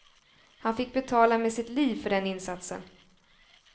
Han fick betala med sitt liv för den insatsen.